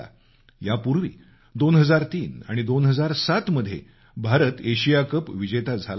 यापूर्वी 2003 आणि 2007 मध्ये भारत एशिया कप चँम्पियन झाला होता